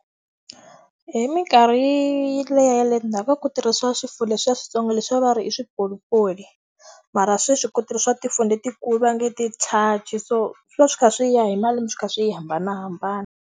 Hi minkarhi liya ya le ndzhaku ka ku tirhisa leswiya swintsongo leswiya va ri i swipolipoli. Mara sweswi ku tirhisiwa tifoni letikulu va nge i ti . So swi va swi kha swi ya hi malembe swi kha swi hambanahambana.